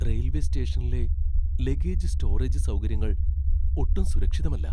Railway സ്റ്റേഷനിലെ luggage storage സൗകര്യങ്ങൾ ഒട്ടും സുരക്ഷിതമല്ല.